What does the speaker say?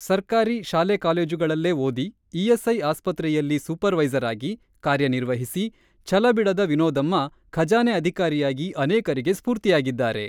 ಸರ್ಕಾರಿ ಶಾಲೆ-ಕಾಲೇಜುಗಳಲ್ಲೇ ಓದಿ, ಇಎಸ್‌ಐ ಆಸ್ಪತ್ರೆಯಲ್ಲಿ ಸೂಪರ್ ವೈಸರ್ ಆಗಿ, ಕಾರ್ಯನಿರ್ವಹಿಸಿ, ಛಲಬಿಡದ ವಿನೋದಮ್ಮ ಖಜಾನೆ ಅಧಿಕಾರಿಯಾಗಿ ಅನೇಕರಿಗೆ ಸ್ಫೂರ್ತಿಯಾಗಿದ್ದಾರೆ.